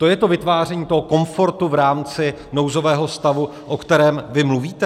To je to vytváření toho komfortu v rámci nouzového stavu, o kterém vy mluvíte?